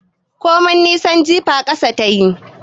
Komai nisan jifa ƙasa tayi